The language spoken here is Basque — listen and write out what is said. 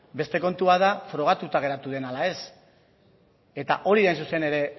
beste kontua da frogatuta geratu den ala ez eta hori da hain zuzen ere